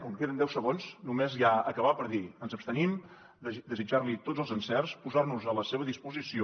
com que queden deu segons només ja acabar per dir ens abstenim desitjar li tots els encerts posar nos a la seva disposició